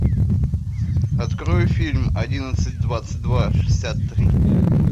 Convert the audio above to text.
открой фильм одиннадцать двадцать два шестьдесят три